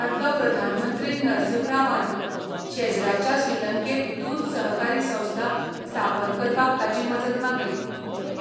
आदलो प्रधानमंत्री नरसिंह रावान शेजराच्या श्रीलंकेंत दूद सहकारी संस्था स्थापन करपाक ताची मजत मागली,